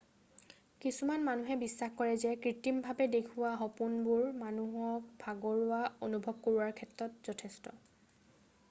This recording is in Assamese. কিছুমান মানুহে বিশ্বাস কৰে যে কৃটিমভাৱে দেখুওৱা সপোনবোৰ মানুহক ভাগৰুৱা অনুভৱ কৰোৱাৰ ক্ষেত্ৰত যথেষ্ট